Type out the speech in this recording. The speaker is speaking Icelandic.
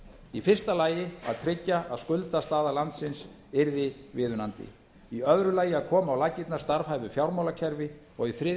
í fyrsta lagi að tryggja að skuldastaða landsins yrði viðunandi í öðru lagi að koma á laggirnar starfhæfu fjármálakerfi og í þriðja